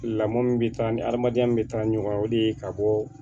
Lamɔ min bɛ taa ni hadamadenya min bɛ taa ɲɔgɔn de ye ka bɔ